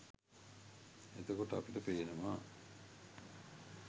එතකොට අපිට පේනවා